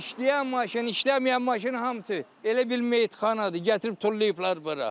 İşləyən maşın, işləməyən maşın hamısı elə bil meyitxanadır, gətirib tullayıblar bura.